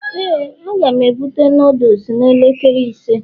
,Éè a ga m ebute noodles n'elekere ise